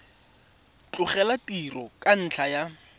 tlogela tiro ka ntlha ya